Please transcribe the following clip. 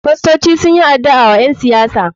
Fastoci sunyi adu'a wa ƴen siyasan mu.